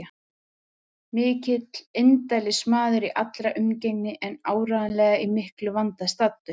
Mikill indælismaður í allri umgengni en áreiðanlega í miklum vanda staddur.